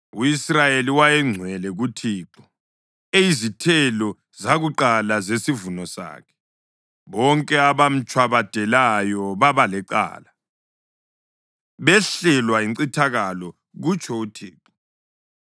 U-Israyeli wayengcwele kuThixo, eyizithelo zakuqala zesivuno sakhe, bonke abamtshwabadelayo baba lecala, behlelwa yincithakalo,’ ” kutsho uThixo.